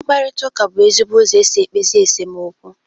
Mkparịta ụka bụ ezigbo ụzọ esi ekpezi esemokwu